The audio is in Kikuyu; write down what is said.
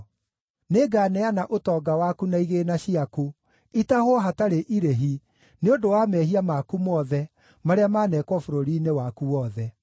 Nĩnganeana ũtonga waku na igĩĩna ciaku itahwo hatarĩ irĩhi, nĩ ũndũ wa mehia maku mothe marĩa maneekwo bũrũri-inĩ waku wothe.